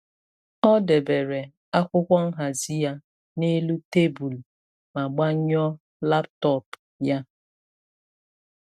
Ọ debere akwụkwọ nhazi ya n’elu tebụl ma gbanyụọ laptop ya.